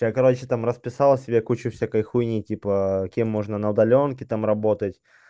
я короче там расписал себе кучу всякой хуйни типа кем можно на удалёнке там работать